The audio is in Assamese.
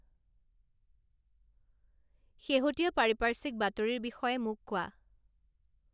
শেহতীয়া পাৰিপাৰ্শ্বিক বাতৰিৰ বিষয়ে মোক কোৱা